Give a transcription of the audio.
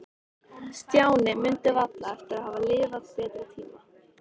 Stjáni mundi varla eftir að hafa lifað betri tíma.